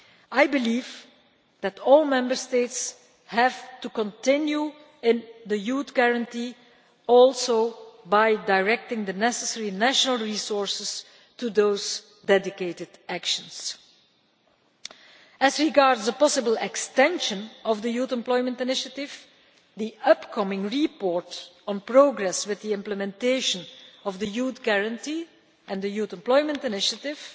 I believe that all Member States have to pursue the Youth Guarantee including by directing the necessary national resources to those dedicated actions. As regards a possible extension of the Youth Employment Initiative, the upcoming report on progress with the implementation of the Youth Guarantee and the Youth Employment Initiative